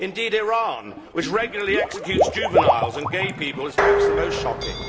Indeed, Iran, which regularly executes juveniles and gay people, is perhaps the most shocking.